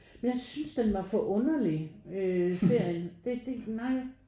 Men jeg synes den var for underlig øh serien det det nej